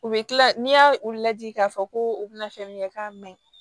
U bɛ kila n'i y'a u lajɛ k'a fɔ ko u bɛna fɛn min kɛ k'a man ɲi